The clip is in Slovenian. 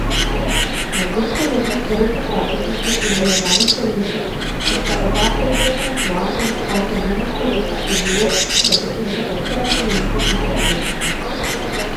Na dveh kolegih, Roku Praprotniku in Lilijani Selinšek, ki sta oba precej samosvoja in avtonomna človeka, je bilo, da pretehtata vse argumente in se odločita.